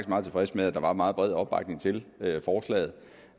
meget tilfreds med at der er meget bred opbakning til forslaget